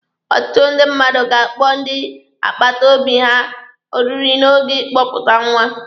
Ọtụtụ ndị mmadụ ga-akpọ ndị akpata obi ha oriri n'oge ịkpọpụta nwa.